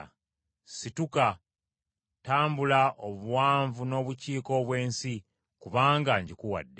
Situka, tambula obuwanvu n’obukiika obw’ensi kubanga ngikuwadde.”